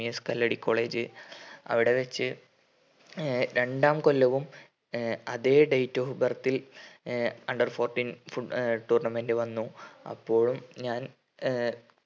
MES Kalladi college അവിടെ വെച്ച് uh രണ്ടാം കൊല്ലവും ഏർ അതെ date of birth ൽ uh under fourteen uh tournament വന്നു അപ്പോഴും ഞാൻ ഏർ